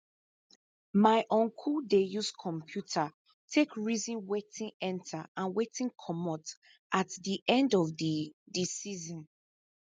my uncle dey use computer take reason wetin enter and wey commot at di end of di di season